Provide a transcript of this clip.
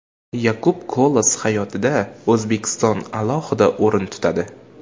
Yakub Kolas hayotida O‘zbekiston alohida o‘rin tutadi.